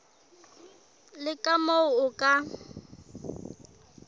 le ka moo o ka